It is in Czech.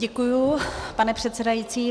Děkuju, pane předsedající.